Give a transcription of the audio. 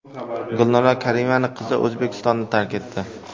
Gulnora Karimovaning qizi O‘zbekistonni tark etdi.